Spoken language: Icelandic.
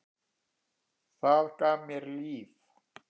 Það gaf mér líf.